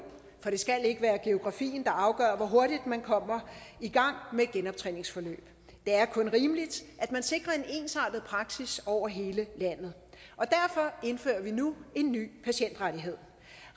for det skal ikke være geografien der afgør hvor hurtigt man kommer i gang med et genoptræningsforløb det er kun rimeligt at man sikrer en ensrettet praksis over hele landet og derfor indfører vi nu en ny patientrettighed